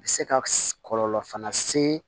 Bɛ se ka kɔlɔlɔ fana se